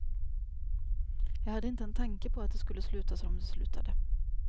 Jag hade inte en tanke på att det skulle sluta som det slutade.